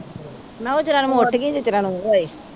ਮੈ ਕਿਹਾ ਓਹਨੇ ਚਿਰਾਂ ਨੂੰ ਮੈ ਉਠਗੀ ਜਿੰਨੇ ਚਿਰਾਂ ਨੂੰ ਉਹ ਆਏ।